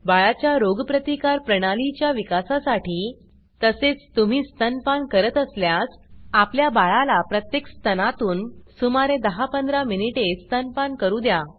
बाळाच्या रोगप्रतिकार प्रणालीच्या विकासासाठी तसेच तुम्ही स्तनपान करत असल्यास आपल्या बाळाला प्रत्येक स्तनातून सुमारे 10 15 मिनिटे स्तनपान करू द्या